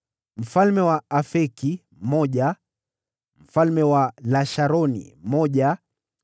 mfalme wa Afeki mmoja mfalme wa Lasharoni mmoja